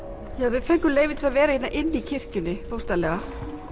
við fengum leyfi til að vera inn í kirkjunni bókstaflega